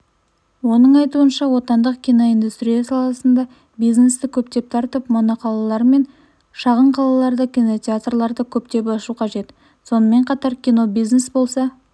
оның айтуынша отандық киноиндустрия саласына бизнесті көптеп тартып моноқалалар мен шағын қалаларда кинотеатрларды көптеп ашу қажет сонымен қатар кино бизнес болса